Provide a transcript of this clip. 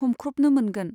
हमख्रबनो मोनगोन।